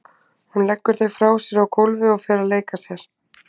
Hún leggur þau frá sér á gólfið og fer að leika sér.